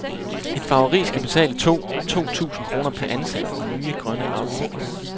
Et farveri skal betale to to tusind kroner per ansat i nye grønne afgifter.